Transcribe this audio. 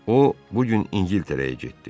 O bu gün İngiltərəyə getdi.